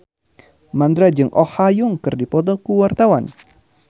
Mandra jeung Oh Ha Young keur dipoto ku wartawan